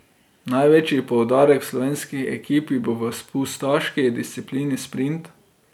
Največji poudarek v slovenski ekipi bo v spustaški disciplini sprint.